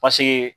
Paseke